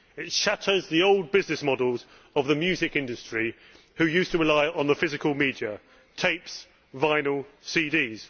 It shatters the old business models of the music industry which used to rely on the physical media tapes, vinyl, CDs.